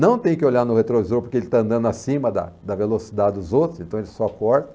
Não tem que olhar no retrovisor porque ele está andando acima da da velocidade dos outros, então ele só corta.